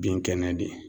Bin kɛnɛ de